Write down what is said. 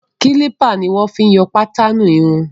Kílípà ni wọn fi ń yọ pátaanù irun.